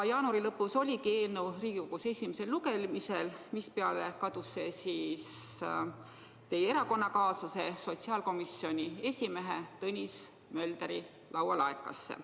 Jaanuari lõpus oligi eelnõu Riigikogus esimesel lugemisel, seejärel aga kadus see teie erakonnakaaslase, sotsiaalkomisjoni esimehe Tõnis Möldri laualaekasse.